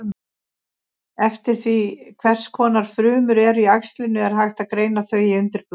Eftir því hvers konar frumur eru í æxlinu er hægt að greina þau í undirflokka.